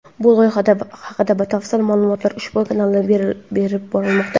Bu loyiha haqida batafsil ma’lumotlar ushbu kanalda berib borilmoqda.